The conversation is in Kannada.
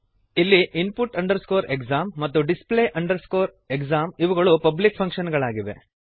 ಇಲ್ಲಿ input exam ಮತ್ತು display exam ಇವುಗಳು ಪಬ್ಲಿಕ್ ಫಂಕ್ಶನ್ ಗಳಾಗಿವೆ